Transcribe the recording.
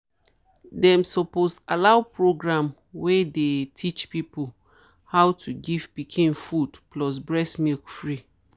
them suppose allow program wey dey teach people how to to give pikin food plus breast milk free.